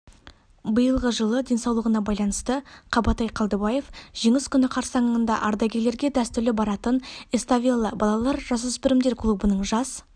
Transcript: биылғы жылы денсаулығына байланысты қабатай қалдыбаев жеңіс күні қарсаңында ардагерлерге дәстүрлі баратын эставелла балалар-жасөспірімдер клубының жас